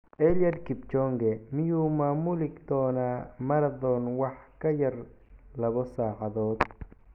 Eliud Kipchoge: Miyuu maamuli doonaa marathon wax ka yar laba saacadood?